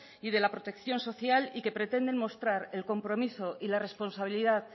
y de la protección social y que pretenden mostrar el compromiso y la responsabilidad